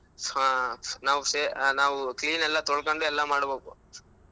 ನಾವ್ ಸೆ~ ನಾವ್ clean ಎಲ್ಲಾ ತೊಳೊಕೊಂಡ್ ಎಲ್ಲಾ ಮಾಡ್ಬೇಕು.